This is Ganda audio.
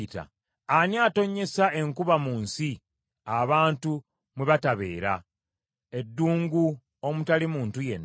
Ani atonnyesa enkuba mu nsi abantu mwe batabeera, eddungu omutali muntu yenna,